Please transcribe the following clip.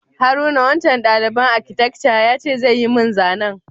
Haruna, wancan dalibain akitekca ya ce zai yi mun zanan.